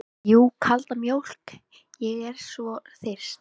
Jú, kalda mjólk, ég er svo þyrst.